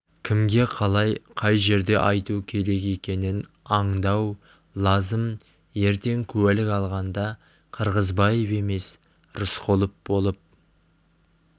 кімге қалай қай жерде айту керек екенін аңдау лазым ертең куәлік алғанда қырғызбаев емес рысқұлов болып